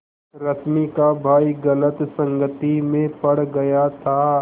रश्मि का भाई गलत संगति में पड़ गया था